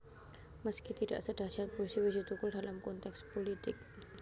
Meski tidak sedahyat puisi Wiji Tukul dalam konteks pulitik